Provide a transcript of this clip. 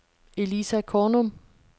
Elisa Kornum